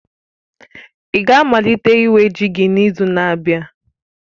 ị ga-amalite iwe ji gị n'izu na-abịa?